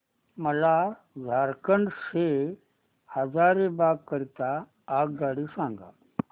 मला झारखंड से हजारीबाग करीता आगगाडी सांगा